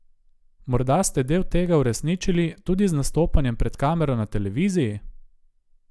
Morda ste del tega uresničili tudi z nastopanjem pred kamero na televiziji?